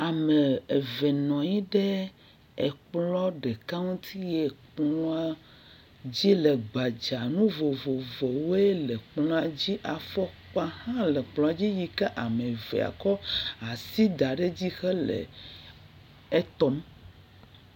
Ame eve nɔ nyi ɖe ekplɔ̃ ɖeka ŋuti yee kplɔ̃a dzi le gbadzaa. Nu vovovowoe le kplɔ̃a dzi. Afɔkpa hã le kplɔ̃a dzi yi kea me ve kɔ asi da ɖe edzi hele etɔm.